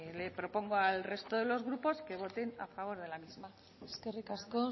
le propongo al resto de los grupos voten a favor de la misma eskerrik asko